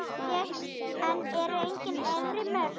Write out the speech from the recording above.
En eru engin efri mörk?